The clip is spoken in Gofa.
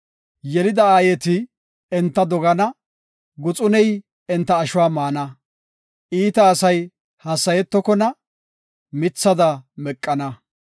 Yelida aayeti enta dogana; Guxuney enta ashuwa maana; iita asay hassayetokona; mithada meqana.